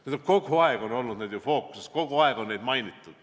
Need on ju kogu aeg fookuses olnud, kogu aeg on neid mainitud.